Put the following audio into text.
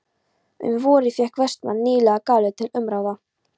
Um vorið fékk Vestmann nýlega galeiðu til umráða.